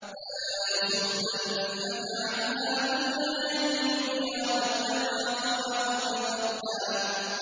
فَلَا يَصُدَّنَّكَ عَنْهَا مَن لَّا يُؤْمِنُ بِهَا وَاتَّبَعَ هَوَاهُ فَتَرْدَىٰ